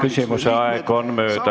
Küsimuse aeg on läbi.